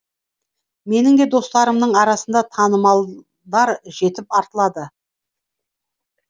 менің де достарымның арасында танымалдар жетіп артылады